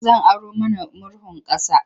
Zan aro mana murhun ƙasa.